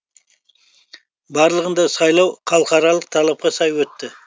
барлығында сайлау халықаралық талапқа сай өтті